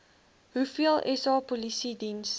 hoeveel sa polisiediens